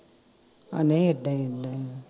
ਆ ਨਹੀ ਇੱਦਾਂ ਰਹਿੰਦਾ